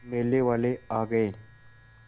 मेले वाले आ गए